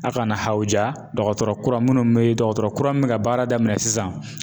A' kana hawuja dɔgɔtɔrɔ kura minnu bɛ dɔgɔtɔrɔ kura min bɛ ka baara daminɛ sisan.